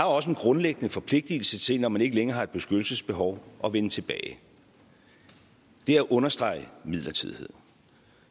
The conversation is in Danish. også en grundlæggende forpligtelse til når man ikke længere har et beskyttelsesbehov at vende tilbage det er at understrege midlertidigheden